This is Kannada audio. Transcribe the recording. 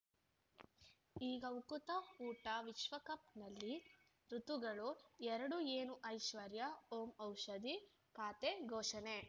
ಈಗ ಉಕುತ ಊಟ ವಿಶ್ವಕಪ್‌ನಲ್ಲಿ ಋತುಗಳು ಎರಡು ಏನು ಐಶ್ವರ್ಯಾ ಓಂ ಔಷಧಿ ಖಾತೆ ಘೋಷಣೆ